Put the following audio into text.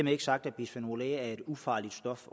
er ikke sagt at bisfenol a er et ufarligt stof